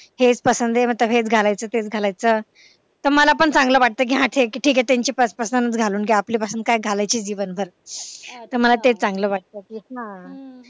हेच पसंत आहे मतलब हेच घालायचं तर मग मला पण वाटते चांगलं कि हा त्यांची पसंतच घालून घेऊ काय आपली पसंत काय घालायची दिवसभर कि मला ते चांगलं वाटत कि